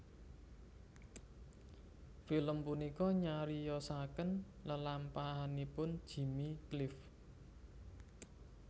Film punika nyariyosaken lelampahanipun Jimmy Cliff